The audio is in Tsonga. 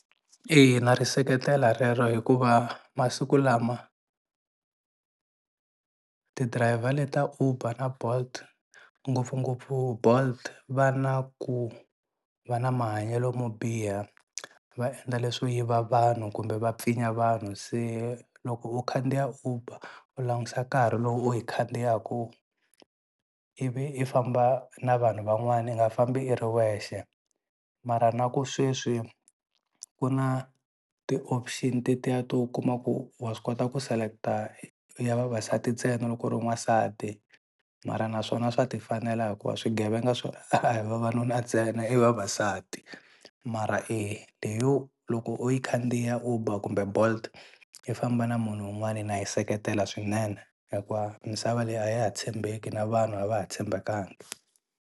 Eya na ri seketela rero hikuva masiku lama ti-driver le ta Uber na Bolt ngopfungopfu Bolt va na ku va na mahanyelo mo biha va endla leswo yiva vanhu kumbe va pfinya vanhu se loko u khandziya Uber u langusa nkarhi lowu u yi khandziyaka ivi i famba na vanhu van'wani i nga fambi i ri wexe mara na ku sweswi ku na ti-option tetiya to u kuma ku wa swi kota ku select-a ya vavasati ntsena loko u ri n'wansati mara na swona swa ti fanela hikuva swigevenga a hi vava nuna tsena i vavasati mara leyo loko u yi khandziya Uber kumbe Bolt i famba na munhu wun'wani na yi seketela swinene hikuva misava leyi a ya ha tshembeki na vanhu a va ha tshembekanga.